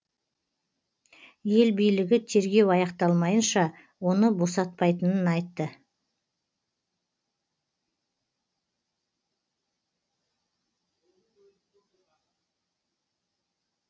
ел билігі тергеу аяқталмайынша оны босатпайтынын айтты